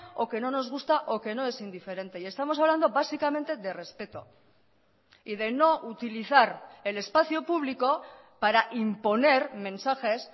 o que no nos gusta o que no es indiferente y estamos hablando básicamente de respeto y de no utilizar el espacio público para imponer mensajes